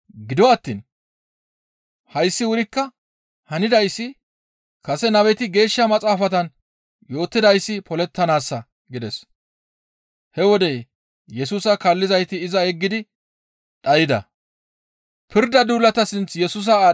Gido attiin hayssi wurikka hanidayssi kase nabeti Geeshsha Maxaafatan yootidayssi polettanaassa» gides. He wode Yesusa kaallizayti iza yeggidi dhayda.